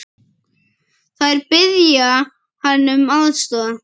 Þeir biðja hann um aðstoð.